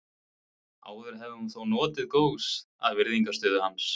Áður hafði hún þó notið góðs af virðingarstöðu hans.